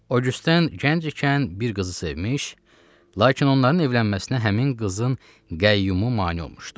Oqyusten gənc ikən bir qızı sevmiş, lakin onların evlənməsinə həmin qızın qəyyumu mane olmuşdu.